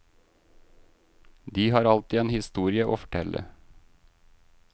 De har alltid en historie å fortelle.